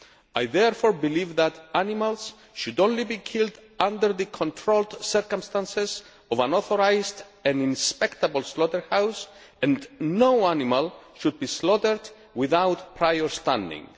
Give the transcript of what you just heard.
I therefore believe that animals should only be killed under the controlled circumstances of an authorised and inspectable slaughterhouse and no animal should be slaughtered without prior stunning.